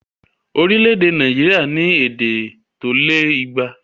Orílẹ̀èdè Nàìjíríà ní èdè tó lé igba